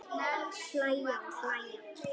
Hlæja og hlæja.